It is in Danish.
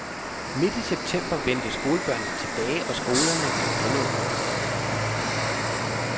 Midt i september vendte skolebørnene tilbage og skolerne blev genåbnet.